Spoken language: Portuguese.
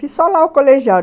Fiz só lá o colegial.